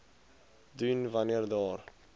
doen wanneer daar